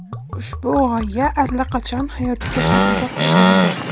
Ushbu g‘oya allaqachon hayotga tatbiq etilgan.